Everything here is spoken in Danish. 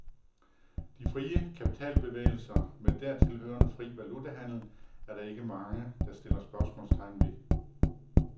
De frie kapitalbevægelser med dertil hørende fri valutahandel er der ikke mange, der stiller spørgsmålstegn ved.